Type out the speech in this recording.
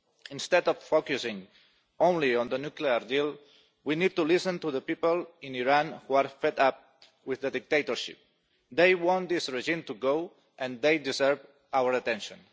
Instead of focusing only on the nuclear deal, we need to listen to the people in Iran who are fed up with the dictatorship. They want this regime to go, and they deserve our attention.